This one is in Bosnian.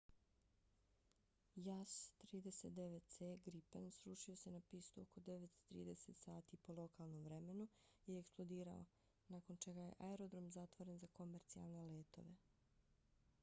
jas 39c gripen srušio se na pistu oko 9:30 sati po lokalnom vremenu 02:30 utc i eksplodirao nakon čega je aerodrom zatvoren za komercijalne letove